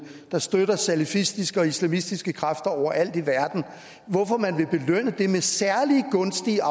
der støtter salafistiske og islamistiske kræfter over alt i verden med særlig gunstige